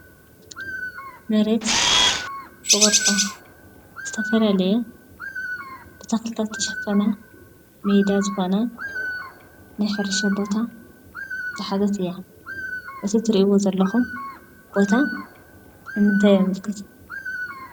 መሬት ብቅርፃ ዝተፈላለየ ብተክሊታት ዝተሸፈነ ሜዳ ዝኮነ ናይ ሕርሻ ቦታ ዝሓዘት እያ ።እቲ ትርእዎ ዘለኩም ቦታ ንምንታይ የመልክት ?